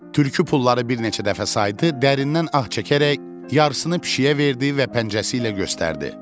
Tülkü pulları bir neçə dəfə saydı, dərindən ah çəkərək yarısını pişiyə verdi və pəncəsi ilə göstərdi.